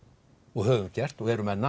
og höfum gert og erum enn